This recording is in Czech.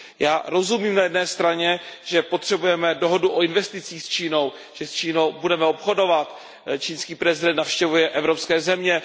Já rozumím na jedné straně, že potřebujeme dohodu o investicích s Čínou, že s Čínou budeme obchodovat, čínský prezident navštěvuje evropské země.